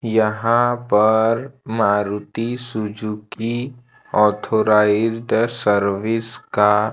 यहां पर Maruti Suzuki authorised service का--